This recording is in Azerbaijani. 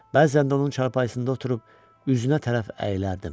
Bəzən də onun çarpayısında oturub üzünə tərəf əyilərdim.